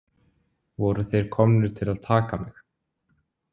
Voru þeir komnir til að taka mig?